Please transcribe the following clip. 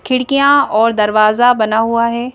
खिड़कियां और दरवाजा बना हुआ है।